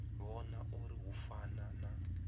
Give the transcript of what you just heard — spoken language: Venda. vhona uri hu fana na